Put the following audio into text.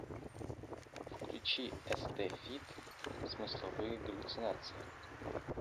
включи эстэ фит смысловые галлюцинации